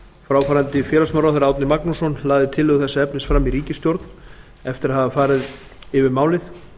fráfarandi félagsmálaráðherra árni magnússon lagði tillögu þessa efnis fram í ríkisstjórn eftir að hafa farið yfir málið